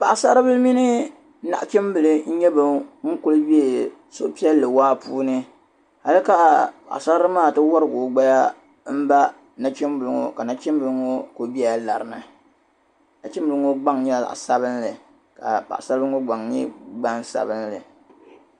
Paɣsaribila mini naɣchimbila n nyɛ ban kuli be suhupiɛlli waa puuni hali ka paɣsaririli maa ti wɔrigi o naba m ba nachimbili ŋɔ ka nachimbili ŋɔ kuli be lari ni nachimbli ŋɔ gbaŋ nyɛla zaɣ sabinli ka paɣsaribili ŋɔ gbaŋ nyɛla zaɣ sabinli